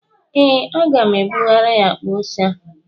Ee, aga m ebugara ya akpa ose a